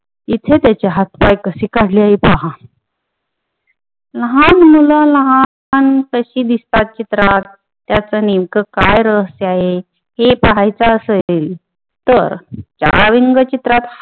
इथे त्याचे हातपाय कशे काढलेत पाहा लहान मुल लहान कशी दिसतात चित्रात त्याच नेमक काय रहस्य आहे हे पाहायच असेल तर चला व्यंगचित्रात